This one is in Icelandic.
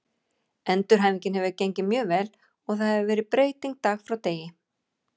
Endurhæfingin hefur gengið mjög vel og það hefur verið breyting dag frá degi.